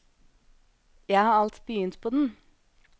Jeg har alt begynt på den.